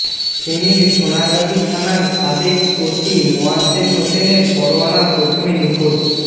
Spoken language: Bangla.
ফেনীর সোনাগাজী থানার সাবেক ওসি মোয়াজ্জেম হোসেনের পরোয়ানা প্রথমে নিখোঁজ